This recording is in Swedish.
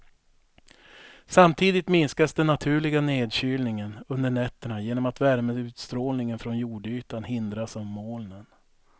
Samtidigt minskas den naturliga nedkylningen under nätterna genom att värmeutstrålningen från jordytan hindras av molnen.